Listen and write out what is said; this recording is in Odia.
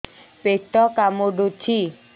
ପେଟ କାମୁଡୁଛି